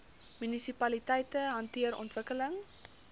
munisipaliteite hanteer ontwikkeling